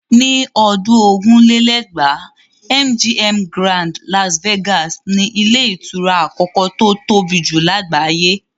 Ní ọdún ogún lé lẹ́gbàá́ MGM Grand Las Vegas ni ilé ìtura àkọ́kọ́ tó tóbi jù lágbàáyé.